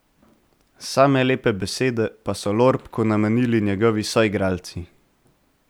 Same lepe besede pa so Lorbku namenili njegovi soigralci.